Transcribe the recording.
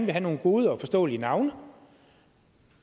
have nogle gode og forståelige navne